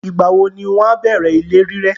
Ìgbàwo ni wọn a bẹ̀rẹ ilé rírẹ́?